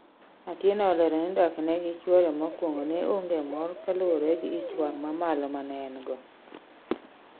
Atieno olero ni dak ne gi chuore mokuongo ne onge mor kaluore gi ichwang' mamalo manengo